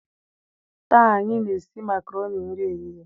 taa anyi na-esi makaroni nri ehihie.